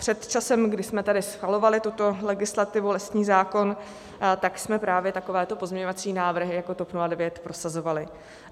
Před časem, kdy jsme tady schvalovali tuto legislativu, lesní zákon, tak jsme právě takovéto pozměňovací návrhy jako TOP 09 prosazovali.